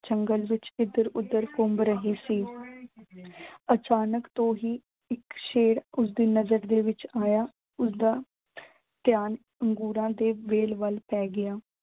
ਜੰਗਲ ਵਿੱਚ ਇਧਰ ਉਦਰ ਘੁੰਮ ਰਹੀ ਸੀ। ਅਚਾਨਕ ਤੋਂ ਹੀ ਇੱਕ ਸ਼ੇਰ ਉਸਦੀ ਨਜ਼ਰ ਦੇ ਵਿੱਚ ਆਇਆ। ਉਸਦਾ ਧਿਆਨ ਅੰਗੂਰਾਂ ਦੇ ਵੇਲ ਵੱਲ ਪੈ ਗਿਆ।